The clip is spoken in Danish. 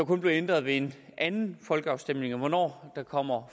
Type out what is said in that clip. kun blive ændret ved en anden folkeafstemning og hvornår der kommer